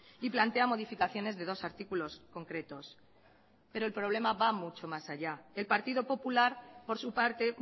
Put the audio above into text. y plantea modificaciones de dos artículos concretos pero el problema va mucho más allá el partido popular por su parte